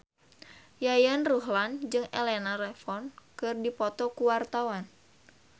Yayan Ruhlan jeung Elena Levon keur dipoto ku wartawan